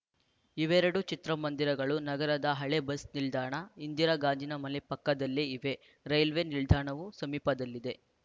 ಇವೆರಡೂ ಚಿತ್ರಮಂದಿರಗಳು ನಗರದ ಹಳೆ ಬಸ್‌ ನಿಲ್ದಾಣ ಇಂದಿರಾ ಗಾಜಿನ ಮನೆ ಪಕ್ಕದಲ್ಲೇ ಇವೆ ರೈಲ್ವೆ ನಿಲ್ದಾಣವೂ ಸಮೀಪದಲ್ಲಿದೆ